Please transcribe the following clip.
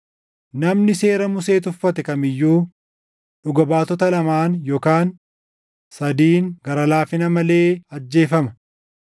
Namni seera Musee tuffate kam iyyuu dhuga baatota lamaan yookaan sadiin gara laafina malee ajjeefama.